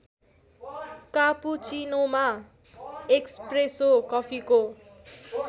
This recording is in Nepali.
कापुचीनोमा एस्प्रेसो कफीको